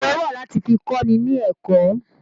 Òwe wà láti fi kọ́ni ni ẹ̀kọ́